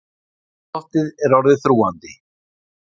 Andrúmsloftið er orðið þrúgandi.